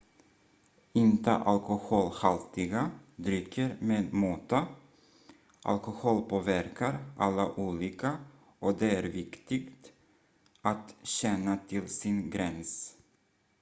inta alkoholhaltiga drycker med måtta alkohol påverkar alla olika och det är viktigt att känna till sin gräns